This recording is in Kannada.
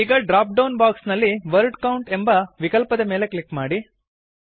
ಈಗ ಡ್ರಾಪ್ಡೌನ್ ಬಾಕ್ಸ್ ನಲ್ಲಿ ವರ್ಡ್ ಕೌಂಟ್ ಎಂಬ ವಿಕಲ್ಪದ ಮೇಲೆ ಕ್ಲಿಕ್ ಮಾಡಿ